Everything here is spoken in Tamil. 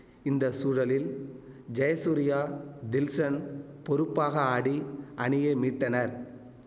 இந்த சூழலில் ஜெயசூர்யா தில்ஷன் பொறுப்பாக ஆடி அணியை மீட்டனர்